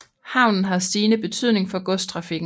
Havnen har stigende betydning for godstrafikken